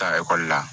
Taa ekɔli la